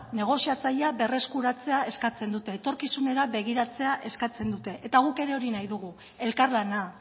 negoziatzailea berreskuratzea eskatzen dute etorkizunera begiratzea eskatzen dute eta guk ere hori nahi dugu elkarlana